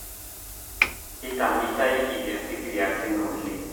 Ketamitai idia sikiria sina oleng